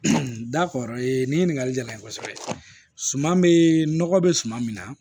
nin ɲininkali jala n ye kosɛbɛ suman be nɔgɔ be suman min na